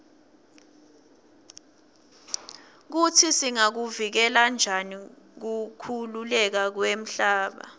kutsi singakuvikela njani kukhukhuleka kwemhlaba